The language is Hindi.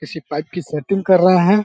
किसी पाइप की सेटिंग कर रहें है।